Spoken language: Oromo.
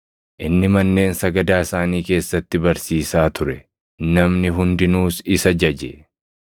Inni manneen sagadaa isaanii keessatti barsiisaa ture; namni hundinuus isa jaje.